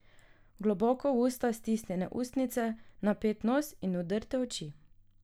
Globoko v usta stisnjene ustnice, napet nos in vdrte oči.